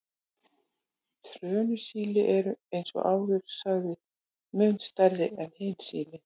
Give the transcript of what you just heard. Trönusíli eru, eins og áður sagði, mun stærri en hin sílin.